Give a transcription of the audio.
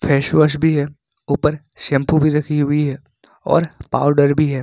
Face wash भी है ऊपर शैंपू भी रखी हुई है और पाउडर भी है।